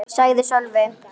sagði Sölvi.